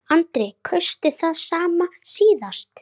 Nafnið getur einnig átt við